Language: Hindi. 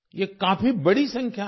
ये काफी बड़ी संख्या है